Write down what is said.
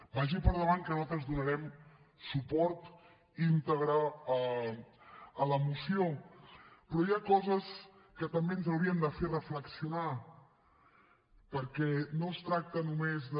vagi per endavant que nosaltres donarem suport íntegre a la moció però hi ha coses que també ens haurien de fer reflexionar perquè no es tracta només de